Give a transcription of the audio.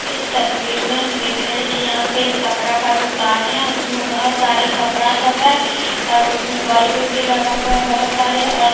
इस तस्वीर में हम देख रहे हैं कि यहां पे कपड़ा का दुकान है उसमें बहोत सारे कपड़ा सब है और उसमें बल्ब भी लगा हुआ है बहोत सारे और--